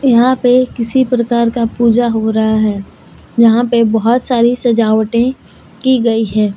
यहां पे किसी प्रकार का पूजा हो रहा है यहां पे बहोत सारी सजावटे की गई है।